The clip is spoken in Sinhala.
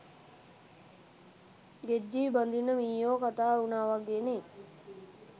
ගෙජ්ජිය බඳින්න මීයෝ කතා උනා වගේනේ.